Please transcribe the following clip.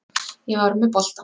Ég var með boltann.